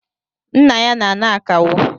Nna ya n'ana akawo